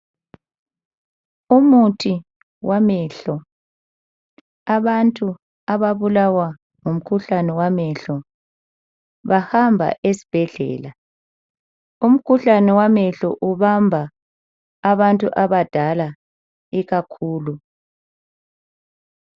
umuthi wamehlo abantu ababulawa ngumkhuhlane wamehlo bahamba esibhedlela. Umkhuhlane wamehlo ubamba abantu abadala ikakhulu.